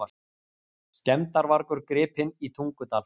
Skemmdarvargur gripinn í Tungudal